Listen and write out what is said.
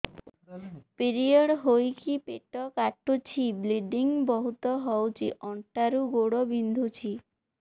period ହୋଇକି ପେଟ କାଟୁଛି ବ୍ଲିଡ଼ିଙ୍ଗ ବହୁତ ହଉଚି ଅଣ୍ଟା ରୁ ଗୋଡ ବିନ୍ଧୁଛି